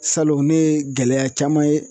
Salon ne ye gɛlɛya caman ye